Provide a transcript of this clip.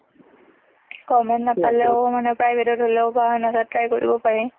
government নাপালেও মানে private অত হলেওঁ, বা খেনেকে কৰিব পাৰি।